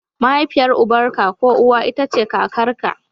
Mahaifiyar uban ka ko uwa ita ce kakarka.